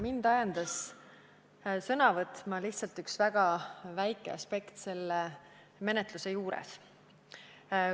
Mind ajendas sõna võtma üks väga väike aspekt selle menetluse juures.